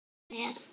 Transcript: Fór hann með?